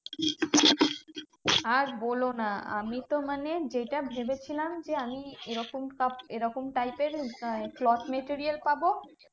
আর বোলো না আমি তো মানে যেটা ভেবেছিলাম যে, আমি এরকম soft এরকম type এর আহ cloth material পাবো,